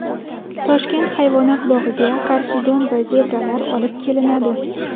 Toshkent hayvonot bog‘iga karkidon va zebralar olib kelinadi.